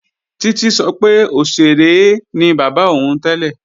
Títí sọ pé òṣèré ni bàbá òun tẹ́lẹ̀